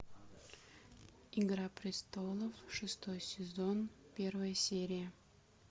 игра престолов шестой сезон первая серия